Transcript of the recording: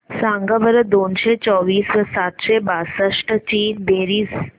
सांगा बरं दोनशे चोवीस व सातशे बासष्ट ची बेरीज